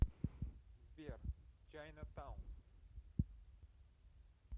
сбер чайна таун